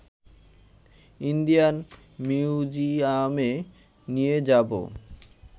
Indian মিউজিয়ামে নিয়ে যাব